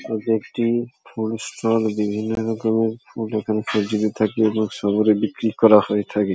এটি একটি food shop বিভিন্ন রকমের ফুড এখানে থাকে এবং সামগ্রী বিক্রি করা হয়ে থাকে। .